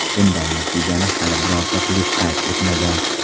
Bunday natijani hali birorta klub qayd etmagan.